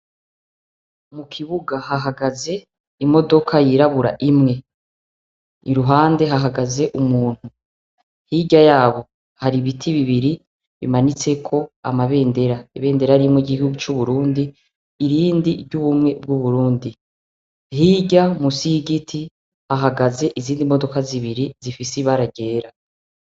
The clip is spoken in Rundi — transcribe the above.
Mu kibuga hahagaze imodoka yirabura imwe iruhande hahagaze umuntu hirya yabo hari ibiti bibiri bimanitseko amabendera ibendera rimwe igihugu c'uburundi irindi ry'ubumwe bw'uburundi hirya musiigiti ahga gaze izindi modoka zibiri zifise ibaragera.